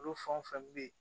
Olu fɛn o fɛn be yen